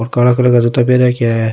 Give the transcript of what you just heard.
और काला कलर रा जूता पैर राख्या है।